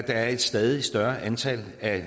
er et stadig større antal af